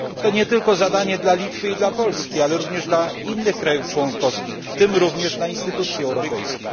To nie tylko zadanie dla Litwy i dla Polski, ale również dla innych krajów członkowskich, w tym również dla instytucji europejskich.